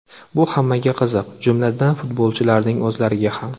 Bu hammaga qiziq, jumladan, futbolchilarning o‘zlariga ham.